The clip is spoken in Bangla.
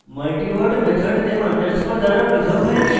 multiword method নেম underscore দ্বারা পৃথক হয়েছে